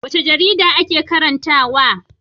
Wace jarida kake karantawa?